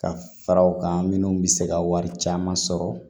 Ka fara u kan minnu bɛ se ka wari caman sɔrɔ